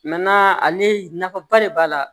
ale nafaba de b'a la